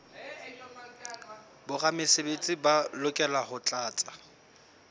boramesebetsi ba lokela ho tlatsa